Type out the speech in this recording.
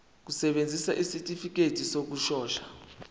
kusebenza isitifikedi sokushona